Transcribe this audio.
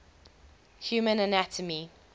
human anatomy